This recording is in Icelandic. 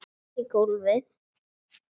Ég fell í gólfið.